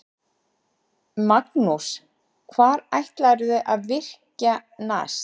Magnús: Hvar ætlarðu að virkja næst?